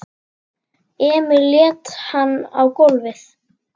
Emil lét hann á gólfið.